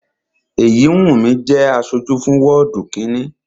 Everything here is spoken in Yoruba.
Èyíwùnmí jẹ́ aṣojú fún wọ́ọ̀dù kínni